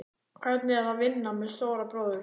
Hvernig er að vinna með stóra bróður?